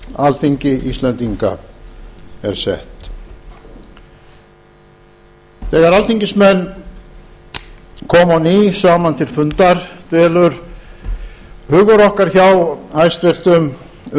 þúsund og átta þegar alþingismenn koma á ný saman til fundar dvelur hugur okkar hjá hæstvirtum